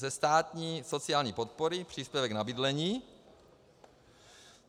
Ze státní sociální podpory příspěvek na bydlení.